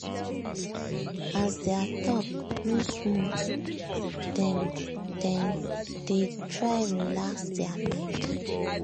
as their talk no smooth dem dem dey try relax their mind.